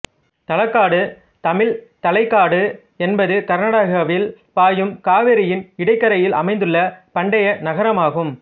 தலக்காடு தமிழ் தலைக்காடு என்பது கர்நாடகாவில் பாயும் காவிரியின் இடக்கரையில் அமைந்துள்ள பண்டைய நகரமாகும்